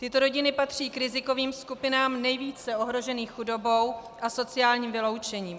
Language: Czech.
Tyto rodiny patří k rizikovým skupinám nejvíce ohrožených chudobou a sociálním vyloučením.